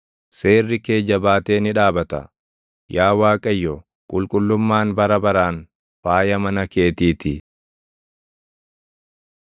Seerri kee jabaatee ni dhaabata; Yaa Waaqayyo, qulqullummaan bara baraan faaya mana keetii ti.